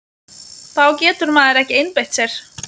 Þá getur maður ekki einbeitt sér!